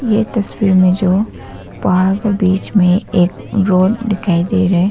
यह तस्वीर में जो पहाड़ के बीच में एक रोड दिखाई दे रहा है।